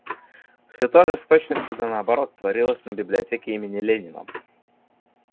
всё то же с точностью до наоборот творилось на библиотеке имени ленина